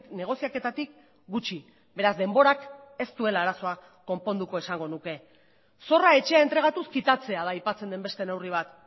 negoziaketatik gutxi beraz denborak ez duela arazoa konponduko esango nuke zorra etxea entregatuz kitatzea da aipatzen den beste neurri bat